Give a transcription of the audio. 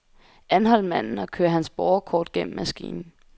Anhold manden og kør hans borgerkort gennem maskinen.